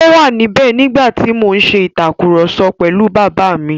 Ó wà níbẹ̀ nígbà tí mo ń ṣe ìtàkurọ̀sọ pẹ̀lú Bàbá mi.